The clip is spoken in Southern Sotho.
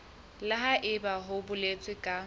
le haebe ho boletswe ka